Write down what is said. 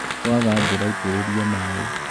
kwaga mbura itïrïria maï